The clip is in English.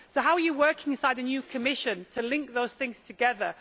So how are you working inside the new Commission to link those things together?